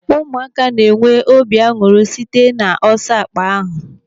Ụmụaka na-enwe obi aṅụrị site n'ọsọ akpa ahụ.